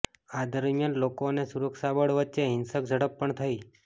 આ દરમિયાન લોકો અને સુરક્ષા બળ વચ્ચે હિંસક ઝડપ પણ થઈ